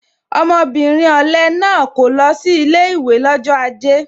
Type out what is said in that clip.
Ọmọbìnrin ọ̀le náà kò lọ sí ilé ìwé lọ́jọ́ aje